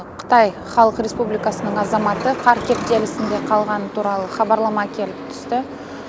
қытай халық республикасының азаматы қар кептелсінде қалғаны туралы хабарлама келіп түсті